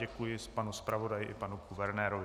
Děkuji panu zpravodaji i panu guvernérovi.